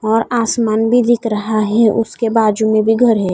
और आसमान भी दिख रहा है उसके बाजुमें भी घर है।